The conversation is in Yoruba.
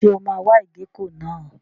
Ṣé o máa wa ìgéko náà?